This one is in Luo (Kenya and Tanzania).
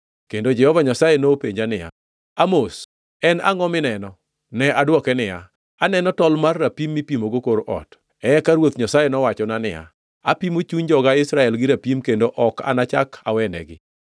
Kendo Jehova Nyasaye nopenja niya, “Amos, en angʼo mineno?” Ne adwoke niya, “Aneno tol mar rapim mipimogo kor ot.” Eka Ruoth Nyasaye nowachona niya, “Apimo chuny joga Israel gi rapim kendo ok anachak awenegi.